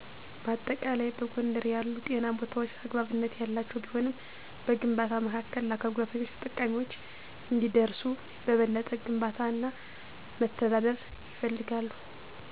በአጠቃላይ፣ በጎንደር ያሉ ጤና ቦታዎች አግባብነት ያላቸው ቢሆንም፣ በግንባታ መካከል ለአካል ጉዳተኞች ተጠቃሚዎች እንዲደርሱ በበለጠ ግንባታ እና መተዳደር ይፈልጋል።